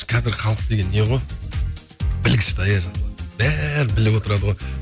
қазір халық деген не ғой бәрін біліп отырады ғой